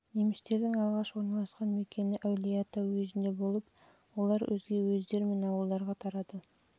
немістердің алғаш орналасқан мекені әулиеата уезінде болып олар өзге уездер мен ауылдарға тарады